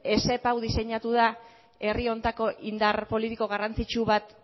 esep hau diseinatu da herri honetako indar politiko garrantzitsu bat